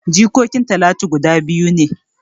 Jikokin talatu guda biyu ne